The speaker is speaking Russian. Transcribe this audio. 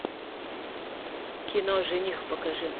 кино жених покажи